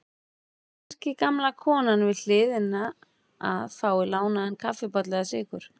Kannski gamla konan við hliðina að fá lánaðan kaffibolla eða sykur.